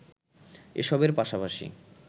এসবের পাশাপাশি